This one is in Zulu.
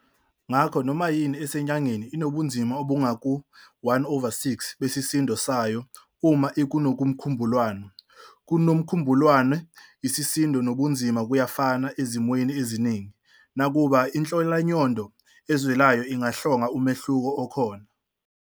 Ngakho noma yini esenyangeni inobunzima obungaku-1 over 6 besisindo sayo uma ikuNomkhubulwane. KuNomkhubulwane, isisindo nobunzima kuyafana ezimweni eziningi, nakuba inhlolamnyondo ezwelayo ingahlonga umehluko okhona.